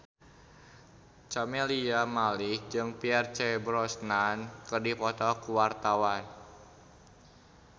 Camelia Malik jeung Pierce Brosnan keur dipoto ku wartawan